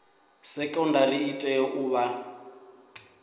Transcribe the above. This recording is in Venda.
sekondari i tea u vha